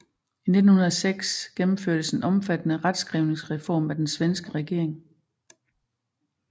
I 1906 gennemførtes en omfattende retskrivningsreform af den svenske regering